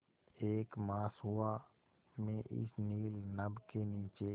एक मास हुआ मैं इस नील नभ के नीचे